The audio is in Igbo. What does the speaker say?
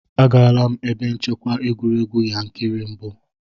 Agaala m ebe nchekwa egwuregwu Yankari mbụ.